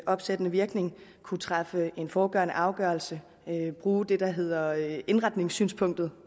opsættende virkning at kunne træffe en forudgående afgørelse bruge det der hedder indretningssynspunktet